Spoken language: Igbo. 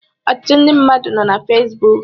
Ọtụtụ ndị mmadụ nọ na Fesbụụk